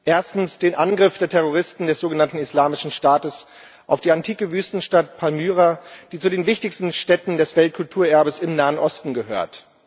Erstens den Angriff der Terroristen des sogenannten Islamischen Staates auf die antike Wüstenstadt Palmyra, die zu den wichtigsten Stätten des Weltkulturerbes im Nahen Osten gehört.